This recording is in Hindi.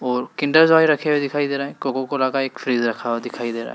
और किंडर जॉय रखे हुए दिखाई दे रहे हैं कोको कोला का एक फ्रिज रखा हुआ दिखाई दे रहा है।